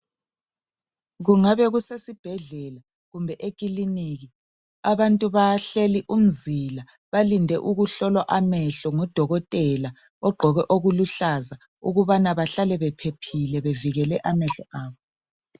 Kungabe kusesibhedlela kumbe ekiliniki abantu bahleli umzila balinde ukuhlolwa amehlo ngudokotela ogqoke okuluhlaza ukubana bahlale bephephile bevikele amehlo abo